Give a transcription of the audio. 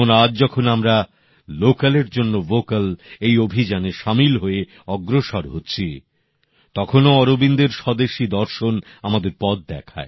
যেমন আজ যখন আমরা লোকাল ফর ভোকাল এই অভিযানে শামিল হয়ে অগ্রসর হচ্ছি তখনো অরবিন্দের স্বদেশী দর্শন আমাদের পথ দেখায়